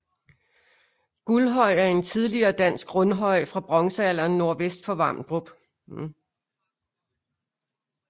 Guldhøj er en tidligere dansk rundhøj fra bronzealderen nordvest for Vamdrup